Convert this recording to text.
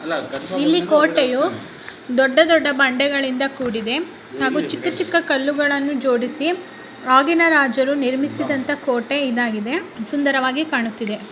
ಇಲ್ಲಿ ಕೋಟೆಯು ದೊಡ್ಡ ದೊಡ್ಡ ಬಂಡೆಗಳಿಂದ ಕೂಡಿದೆ ಹಾಗು ಚಿಕ್ಕ ಚಿಕ್ಕ ಕಲ್ಲುಗಳನ್ನು ಜೋಡಿಸಿ ಆಗಿನ ರಾಜರು ನಿರ್ಮಿಸಿದಂತಹ ಕೋಟೆ ಇದಾಗಿದೆ ಸುಂದರವಾಗಿ ಕಾಣುತ್ತಿದೆ.